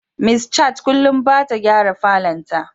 Miss Chat kullum bata gyara falon ta.